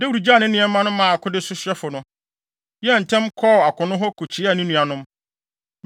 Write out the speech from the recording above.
Dawid gyaw ne nneɛma maa akode sohwɛfo no, yɛɛ ntɛm kɔɔ akono hɔ kokyia ne nuanom.